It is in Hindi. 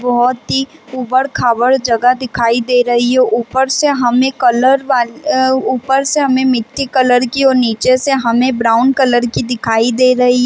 बहोत ही उबड़-खाबड़ जगह दिखाई दे रही है ऊपर से हमे कलर वाली अ ऊपर से हमे मिट्टी कलर कि और नीचे से हमे ब्राउन कलर की दिखाई दे रही है ।